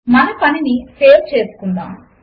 మన పనిని సేవ్ చేసుకుందాము